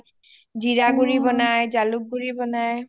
জীৰা গুৰি বনাই জালুক গুৰি বনাই হিহঁতেও বহুত ধুনীয়া organic বস্তু পাই তাত